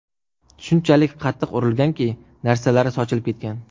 Shunchalik qattiq urilganki, narsalari sochilib ketgan.